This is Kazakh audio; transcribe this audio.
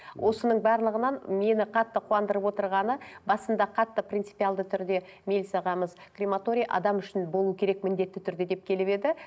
осының барлығынан мені қатты қуандырып отырғаны басында қатты принципиалды түрде мелс ағамыз крематорий адам үшін болу керек міндетті түрде деп келіп еді